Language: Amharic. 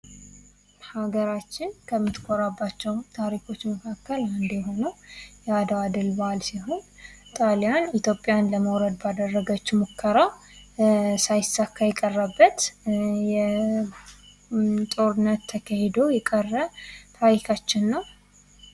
ሀገራችንን ከምትቆርባቸው ታሪኮች መካከል አንዱ የሆነው የአድዋ ድል በዓል ሲሆን ጣሊያን ኢትዮጵያን ለመውረር ባደረገችው ሙከራ ሳይሳካበት የቀረው፥ ጦርነት ተካሂዶ የቀረ ታሪካችን ነው።